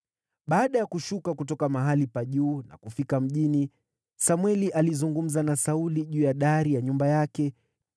Baada ya kushuka kutoka mahali pa juu na kufika mjini, Samweli alizungumza na Sauli juu ya dari ya nyumba yake.